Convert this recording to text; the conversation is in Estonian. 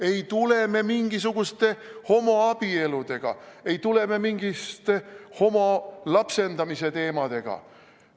Ei tule me mingite homoabieludega, ei tule me mingi homode lapsendamisteemaga.